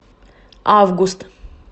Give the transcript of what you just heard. август